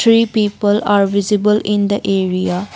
Three people are visible in the area.